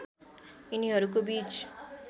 यिनीहरूको बीच